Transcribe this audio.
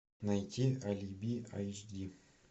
найти алиби айч ди